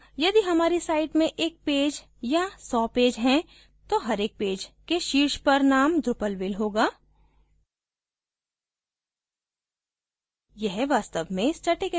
अब यदि हमारी site में एक पैज या so पैज हैं तो हर एक पैज के शीर्ष पर name drupalville होगा